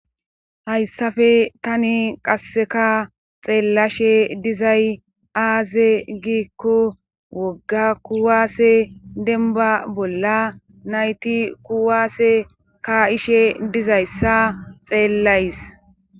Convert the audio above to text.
hayssafe tani qasseka xeellashe dizay aaze giikko wogga kuwaase denba bolla nayti kuwaase ka ishe dizayssa xeellays